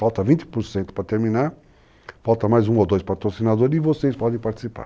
Falta 20% para terminar, falta mais um ou dois patrocinadores e vocês podem participar.